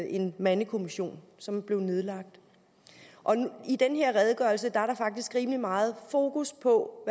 en mandekommission som blev nedlagt og i den her redegørelse er der faktisk rimelig meget fokus på